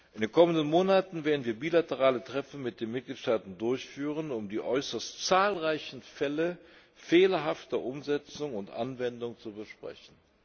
In den kommenden Monaten werden wir bilaterale Treffen mit den Mitgliedstaaten durchführen, um die äußerst zahlreichen Fälle fehlerhafter Umsetzung und Anwendung zu besprechen.